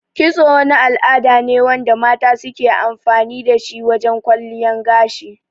Kitso wani al'ada ne wanda mata suke amfani dashi wajan kwalliyan gashi